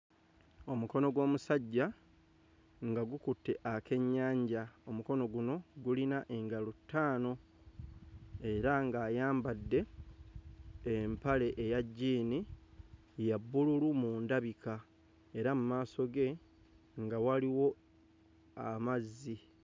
Omukono gw'omusajja nga gukutte ak'ennyanja omukono guno gulina engalo ttaano era ng'ayambadde empale eya jjiini ya bbululu mu ndabika era mmaso ge nga waliwo amazzi